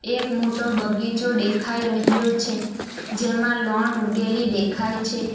એક મોટો બગીચો દેખાઈ રહ્યો છે જેમાં લોન ઉગેલી દેખાય છે.